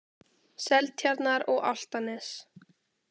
Seltjarnar- og Álftanes.